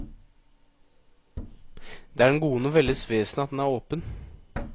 Det er den gode novelles vesen at den er åpen.